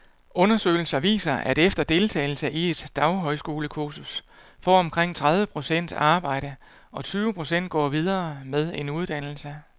Undersøgelser viser, at efter deltagelse i et daghøjskolekursus får omkring tredive procent arbejde, og tyve procent går videre med en uddannelse.